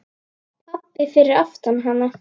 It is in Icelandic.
Pabbi fyrir aftan hana: